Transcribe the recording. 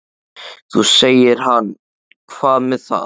Þá segir hann Hvað með það.